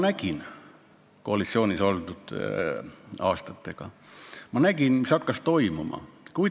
Aga koalitsioonis oldud aastate jooksul ma nägin, mis hakkas toimuma.